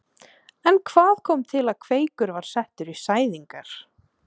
En hvað kom til að Kveikur var settur í sæðingar?